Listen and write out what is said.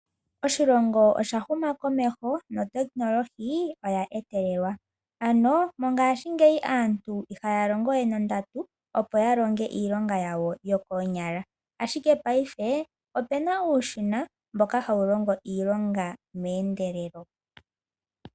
Oshilongo osha huma komeho notekinolohi oya etelelwa ano mongashingeya aantu ihaya nana we nondatu, opo ya longe iilonga yawo yokoonyala ashike payife ope na uushina mboka hawu longo iilonga meendelelo.